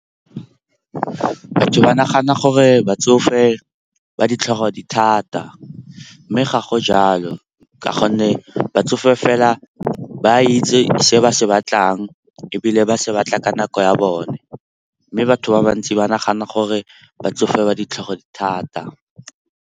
Batho ba nagana gore batsofe ba ditlhogo di thata, mme ga go jalo ka gonne batsofe fela ba itse se ba se batlang ebile ba se batla ka nako ya bone. Mme batho ba bantsi ba nagana gore batsofe ba ditlhogo di thata.